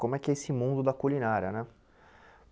Como é que é esse mundo da culinária né?